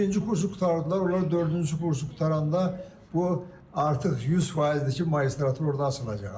Birinci kursu qurtardılar, onlar dördüncü kursu qurtaranda bu artıq 100%-dir ki, magistratura orada açılacaq.